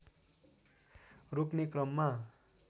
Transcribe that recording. रोक्ने क्रममा